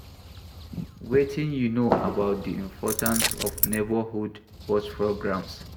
Wetin you know about di importance of neighborhood watch programs?